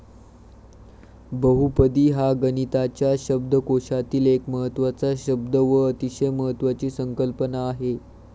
बहुपदी हा गणिताच्या शब्दकोशातील एक महत्वाचा शब्द व अतिशय महत्वाची संकल्पना आहे.